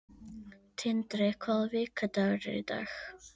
Tindri, hvaða vikudagur er í dag?